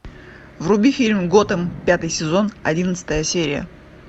вруби фильм готэм пятый сезон одиннадцатая серия